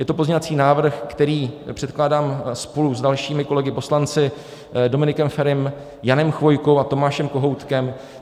Je to pozměňovací návrh, který předkládám spolu s dalšími kolegy poslanci - Dominikem Ferim, Janem Chvojkou a Tomášem Kohoutkem.